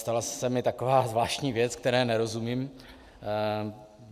Stala se mi taková zvláštní věc, které nerozumím.